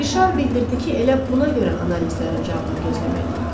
Rişar bildirdi ki, elə buna görə analizlərin cavabını gözləməliyik.